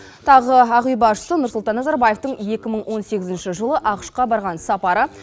тағы ақ үй басшысы нұрсұлтан назарбаевтың екі мың он сегізінші жылы ақш қа барған сапары